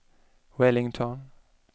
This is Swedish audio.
Wellington